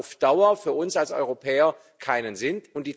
Das macht auf Dauer für uns als Europäer keinen Sinn.